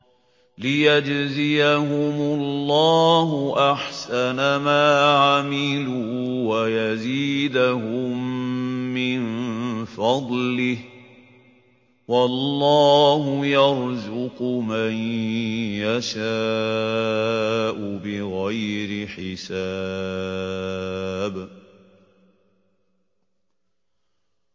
لِيَجْزِيَهُمُ اللَّهُ أَحْسَنَ مَا عَمِلُوا وَيَزِيدَهُم مِّن فَضْلِهِ ۗ وَاللَّهُ يَرْزُقُ مَن يَشَاءُ بِغَيْرِ حِسَابٍ